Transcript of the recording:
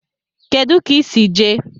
Kedu ka I si jee?